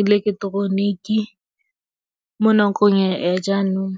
ileketeroniki mo nakong ya jaanong.